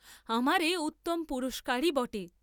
আমার এ উত্তম পুরস্কারই বটে!